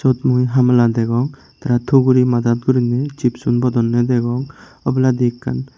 siot mui hammala degong tara tuguri madat gurinei chipsun bodonde degong oboladi ekkan.